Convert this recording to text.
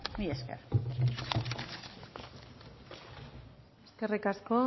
mila esker eskerrik asko